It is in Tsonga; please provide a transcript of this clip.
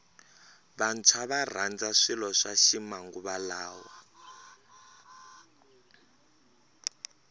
vantshwa varandza swilo swa ximanguva lawa